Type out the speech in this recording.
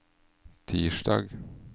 tirsdag